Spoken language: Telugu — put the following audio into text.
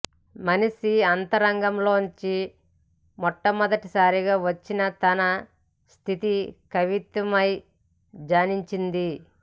మనిషి అంతరంగంలోంచి మొట్టమొదటిసారిగా వచ్చిన తన స్థితే కవిత్వమై జనించింది